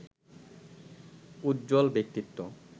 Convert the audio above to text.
উজ্জ্বল ব্যক্তিত্ব